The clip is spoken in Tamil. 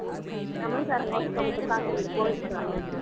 தமிழ்காரங்க ஒருத்தவங்க இருக்காங்க இங்க